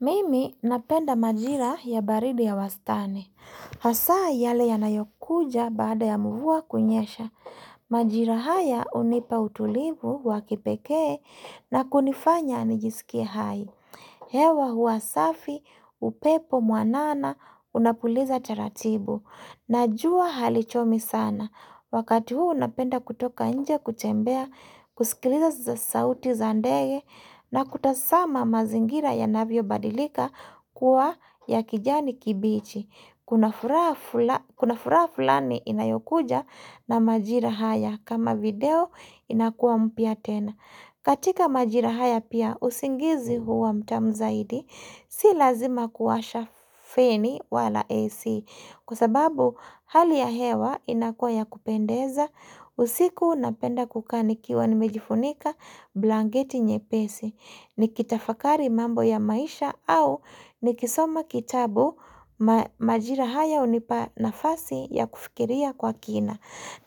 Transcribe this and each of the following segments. Mimi napenda majira ya baridi ya wastani. Hasa yale yanayokuja baada ya mvua kunyesha. Majira haya hunipa utulivu wa kipekee na kunifanya nijisikie hai. Hewa hua safi, upepo mwanana, unapuliza taratibu. Na jua halichomi sana. Wakati huu napenda kutoka nje kutembea, kusikiliza sauti za ndege na kutazama mazingira yanavyobadilika kuwa ya kijani kibichi. Kuna fura fulani inayokuja na majira haya, kama video inakua mpya tena. Katika majira haya pia usingizi huwa mtamu zaidi, si lazima kuwasha feni wala AC. Kwa sababu hali ya hewa inakuwa ya kupendeza, usiku napenda kukaa nikiwa nimejifunika blanketi nyepesi nikitafakari mambo ya maisha au nikisoma kitabu majira haya hunipa nafasi ya kufikiria kwa kina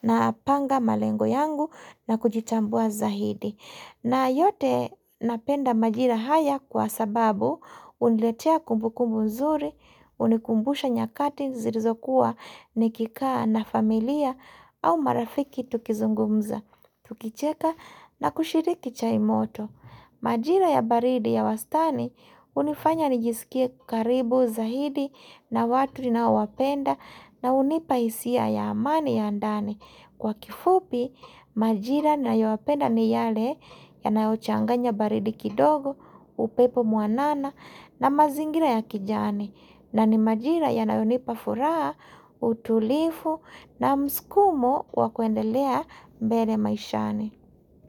napanga malengo yangu na kujitambua zaidi. Na yote, napenda majira haya kwa sababu huniletea kumbu kumbu nzuri, hunikumbusha nyakati zilizokuwa nikikaa na familia au marafiki tukizungumza, tukicheka na kushiriki chai moto. Majira ya baridi ya wastani hunifanya nijisikie karibu zaidi na watu ninaowapenda na hunipa hisia ya amani ya ndani. Kwa kifupi, majira nayoyapenda ni yale yanayochanganya baridi kidogo, upepo mwanana na mazingira ya kijani. Na ni majira yanayonipa furaha, utulivu na mskumo wa kwendelea mbele maishani.